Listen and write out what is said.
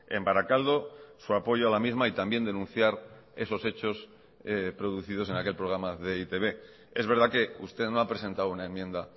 en barakaldo su apoyo a la misma y también denunciar esos hechos producidos en aquel programa de e i te be es verdad que usted no ha presentado una enmienda